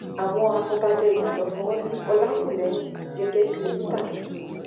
àwọn afọbajẹ ìbàdàn fọwọ sí ọlákúlẹhìn gẹgẹ bíi olùbàdàn tuntun